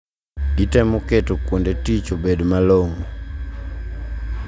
Gitemo keto kuonde tich obed malong`o